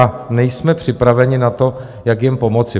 A nejsme připraveni na to, jak jim pomoci.